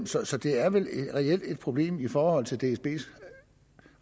så så det er vel reelt et problem for dsbs